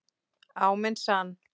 Á minn sann.